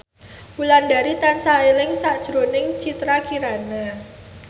Wulandari tansah eling sakjroning Citra Kirana